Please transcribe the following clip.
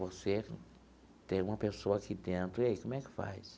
Você tem uma pessoa aqui dentro, e aí como é que faz?